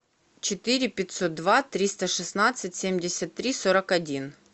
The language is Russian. четыре пятьсот два триста шестнадцать семьдесят три сорок один